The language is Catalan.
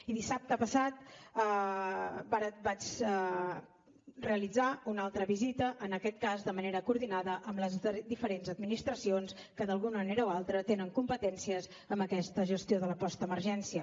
i dissabte passat vaig realitzar una altra visita en aquest cas de manera coordinada amb les diferents administracions que d’alguna manera o altra tenen competències en aquesta gestió de la postemergència